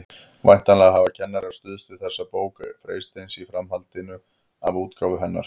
Væntanlega hafa kennarar stuðst við þessa bók Freysteins í framhaldi af útgáfu hennar.